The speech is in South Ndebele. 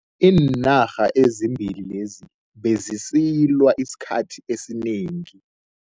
Iinarha ezimbili lezi bezisilwa esikhathini esinengi.